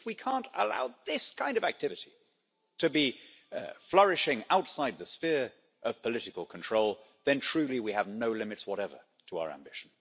If we can't allow this kind of activity to be flourishing outside the sphere of political control, then truly we have no limits whatever to our ambition.